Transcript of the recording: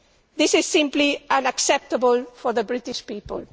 This is simply unacceptable for the British people.